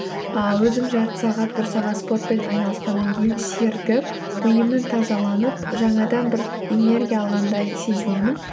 ыыы өзім жарты сағат бір сағат спортпен айналысқаннан кейін серігіп миымның тазаланып жаңадан бір энергия алғандай сезінемін